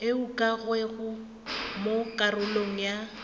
e ukangwego mo karolong ya